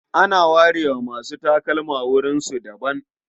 Ana ware wa masu takalma wurinsu na daban.